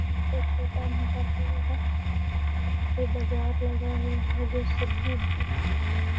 यहां पे छोटा-मोटा फील्ड है जहां पे बाजार लगा हुआ है जो सब्जी उब्जी बिक रही है ।